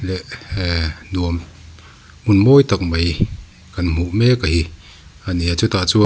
ehh hee nuam hmun mawi tak mai kan hmuh mek a hi a ni a chutah chuan--